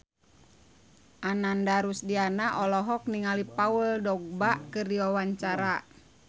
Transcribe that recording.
Ananda Rusdiana olohok ningali Paul Dogba keur diwawancara